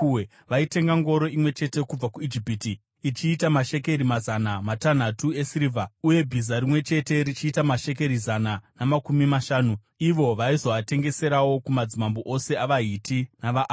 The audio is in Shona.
Vaitenga ngoro imwe chete kubva kuIjipiti ichiita mashekeri mazana matanhatu esirivha uye bhiza rimwe chete richiita mashekeri zana namakumi mashanu . Ivo vaizoatengeserawo kumadzimambo ose avaHiti navaAramu.